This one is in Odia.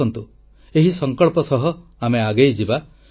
ଆସନ୍ତୁ ଏହି ସଂକଳ୍ପ ସହ ଆମେ ଆଗେଇଯିବା